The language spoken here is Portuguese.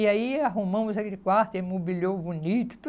E aí arrumamos aquele quarto, imobiliou bonito,